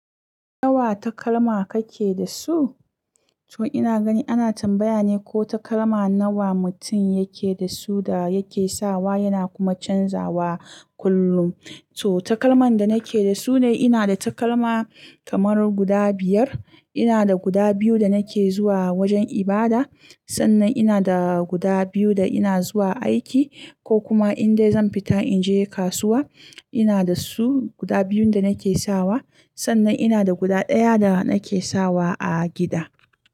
Nawa takalma kake da su? To ina gani ana tambaya ne ko takalma nawa mutum yake da su da yake sawa yana kuma canzawa kullum. To takalman da nake da su ne ina da takalma kamar guda biyar. Ina da guda biyu da nake zuwa wajen ibada, sannan ina da guda biyu da ina zuwa aiki ko kuma indai zan fita in je kasuwa. Ina da su guda biyun da nake sawa, sannan ina da guda ɗaya da nake sawa a gida.